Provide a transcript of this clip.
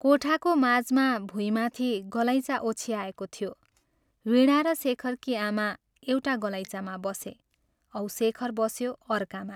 कोठाको माझमा भुइँमाथि गलैँचा ओछ्याएको थियो, वीणा र शेखरकी आमा एउटा गलैँचामा बसे औ शेखर बस्यो अर्कामा।